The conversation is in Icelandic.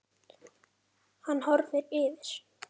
Hann horfir yfir